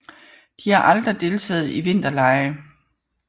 De har aldrig deltaget i vinterlege